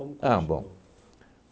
continuou? Ah, bom.